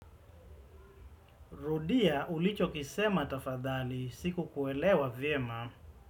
Rudia ulicho kisema tafadhali siku kuelewa vyema.